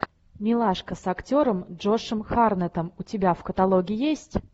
милашка с актером джошем харнетом у тебя в каталоге есть